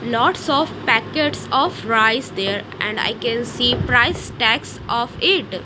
lots of packets of rice there and I can see price tags of it.